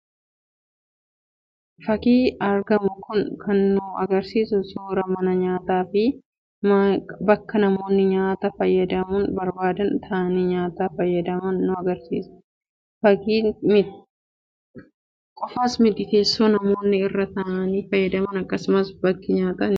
Fakiin argamu kun kan nu agarsiisu suuraa mana nyaataa fi bakka namoonni nyaata fayyadamuu barbaadan taa'anii nyaata fayyadaman nu agarsiisa. Isa qofaas miti teessoo namoonni irra taa'anii fayyadaman akkasumas bakki dhiqannaa harkaallee ni mul'ata.